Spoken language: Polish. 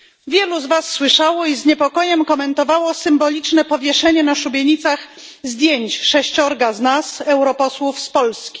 Wielu z was słyszało i z niepokojem komentowało symboliczne powieszenie na szubienicach zdjęć sześciorga z nas europosłów z Polski.